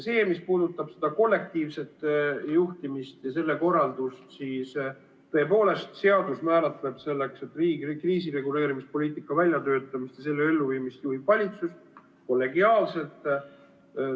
Mis puudutab seda kollektiivset juhtimist ja selle korraldust, siis tõepoolest, seadus määratleb selle, et riigi kriisireguleerimispoliitika väljatöötamist ja elluviimist juhib valitsus kollegiaalselt.